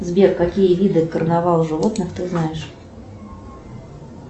сбер какие виды карнавала животных ты знаешь